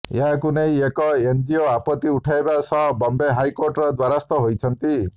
ଏହାକୁ ନେଇ ଏକ ଏନଜିଓ ଆପତ୍ତି ଉଠାଇବା ସହ ବମ୍ବେ ହାଇକୋର୍ଟର ଦ୍ୱାରସ୍ଥ ହୋଇଛନ୍ତି